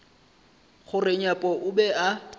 gore nyepo o be a